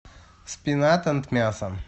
спинат энд мясо